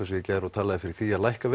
gær og talaði fyrir því að lækka